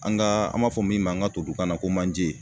An ga an b'a fɔ min ma todunkan na ko manje